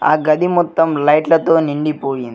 ఆ గది మొత్తం లైట్లతో నిండిపోయి--